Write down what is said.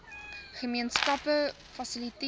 gemeen skappe fasiliteer